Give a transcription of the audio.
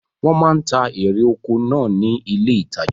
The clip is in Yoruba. Wọ́n máa ń ta erè oko náà ní ilé ìtajà.